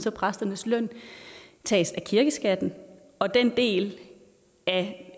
at præsternes løn tages af kirkeskatten og at den del af